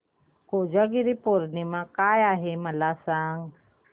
कोजागिरी पौर्णिमा काय आहे मला सांग